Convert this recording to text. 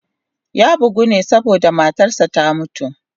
Ya bugu ne saboda matarsa ​​ta mutu.